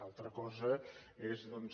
altra cosa és doncs